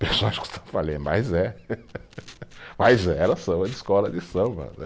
mas é. Mas era samba de escola de samba, né.